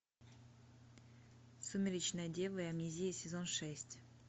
сумеречная дева и амнезия сезон шесть